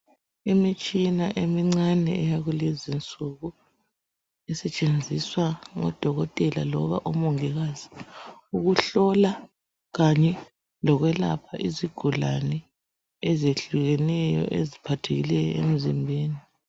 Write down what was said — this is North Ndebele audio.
Imitshina emincane yakulezinsuku, isetshenziswa ngodokotela loba omongikazi, ukuhlola kanye lokwelapha izigulane ezihlukeneyo, eziphathekileyo emzimbeni.